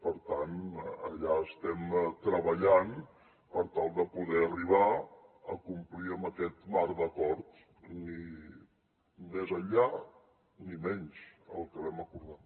per tant allà estem treballant per tal de poder arribar a complir amb aquest marc d’acord ni més enllà ni menys el que vam acordar